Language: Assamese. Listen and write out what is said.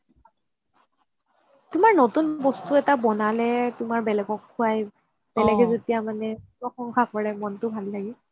তুমাৰ নতুন বস্তু এটা বনালে তুমাৰ বেলেগক খুৱাই বেলেগে যেতিয়া মানে প্ৰশংসা কৰে মনটো ভাল লাগে